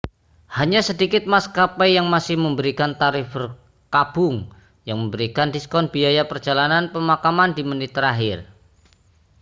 hanya sedikit maskapai yang masih memberikan tarif berkabung yang memberikan diskon biaya perjalanan pemakaman di menit terakhir